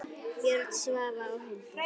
Björn, Svava og Hildur.